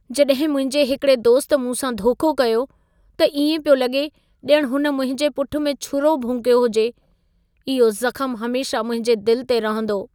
जॾहिं मुंहिंजे हिकिड़े दोस्त मूंसां धोखो कयो, त इएं पियो लॻे ॼणु हुन मुंहिंजे पुठ में छुरो भोंकियो हुजे। इहो ज़खम हमेशह मुंहिंजे दिल ते रहंदो।